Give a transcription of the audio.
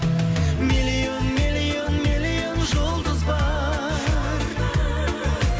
миллион миллион миллион жұлдыз бар